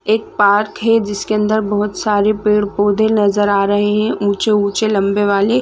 एक पार्क है जिसके अंदर बहोत सारे पेड़-पौधे नज़र आ रहे है ऊंचे-ऊंचे लम्बे वाले--